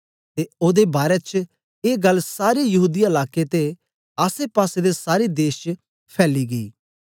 ते ओदे बारै च ए गल्ल सारे यहूदीया लाकें ते आसेपासे दे सारे देश च फैली गेई